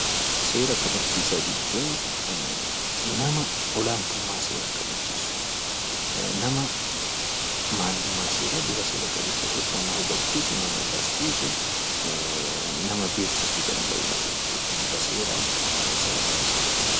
Seera kabachiisaa jechuun nama olaantummaa seeraa kabachiisu nama maalummaa seeraa bifa seera qabeessa ta'een nama hubachiisu nama barsiisu nama beeksisuu danda'udha jechuudha. Bifa seera qabeessa ta'een.